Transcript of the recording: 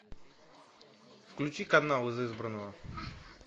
включи канал из избранного